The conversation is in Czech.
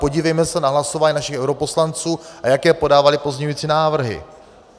Podívejme se na hlasování našich europoslanců, a jaké podávali pozměňovací návrhy.